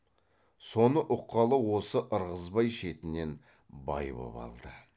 соны ұққалы осы ырғызбай шетінен бай боп алды